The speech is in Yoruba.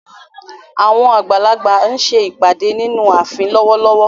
Àwọn àgbà ń ṣe ìpàdé nínú ààfin lọ́wọ́lọ́wọ́.